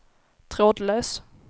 trådlös